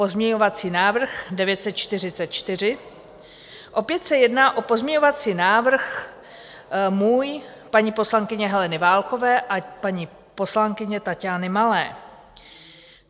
Pozměňovací návrh 944 - opět se jedná o pozměňovací návrh můj, paní poslankyně Heleny Válkové a paní poslankyně Taťány Malé.